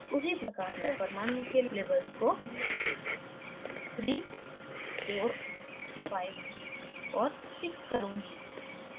उसी प्रकार मैं परमाणुओं के labels को 345 और 6 करुँगी